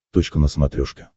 точка на смотрешке